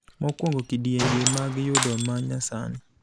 Mokuongo kidienje mag yudo ma nyasani.